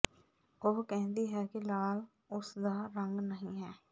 ਉਹ ਕਹਿੰਦੀ ਹੈ ਕਿ ਲਾਲ ਉਸ ਦਾ ਰੰਗ ਨਹੀਂ ਹੈ